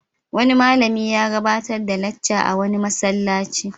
Wani malami ya gabatar da lacca a wani masallaci.